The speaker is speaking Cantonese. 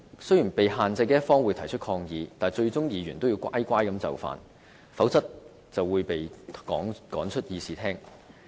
雖然被限制的一方可以提出抗議，但議員最終也會乖乖就範，否則，便會被趕出會議廳。